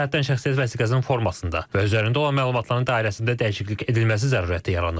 Bu cəhətdən şəxsiyyət vəsiqəsinin formasında və üzərində olan məlumatların dairəsində dəyişiklik edilməsi zərurəti yaranıb.